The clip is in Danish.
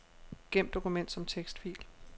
Gem dokument som tekstfil.